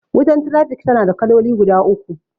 Wutan trafik tana da kaloli guda uku.